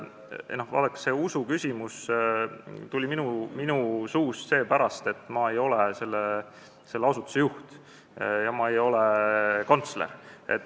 Vaadake, sellest usuküsimusest rääkisin ma seepärast, et ma ei ole selle asutuse juht ja ma ei ole kantsler.